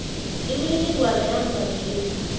imininingwana yamva nje